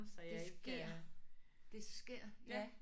Det sker det sker ja